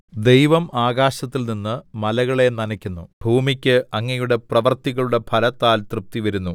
ദൈവം ആകശത്തില്‍ നിന്ന് മലകളെ നനയ്ക്കുന്നു ഭൂമിക്ക് അങ്ങയുടെ പ്രവൃത്തികളുടെ ഫലത്താൽ തൃപ്തിവരുന്നു